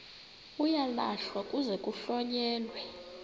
uyalahlwa kuze kuhlonyelwe